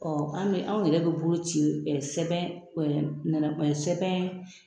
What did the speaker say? Ɔ an bɛ anw yɛrɛ bɛ bolo ci ɛ sɛbɛn sɛbɛn